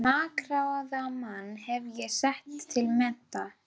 Þann makráða mann hef ég sett til mennta!